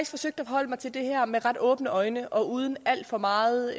forsøgt at forholde mig til det her med ret åbne øjne og uden alt for meget